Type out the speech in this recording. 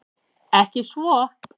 Ekki svo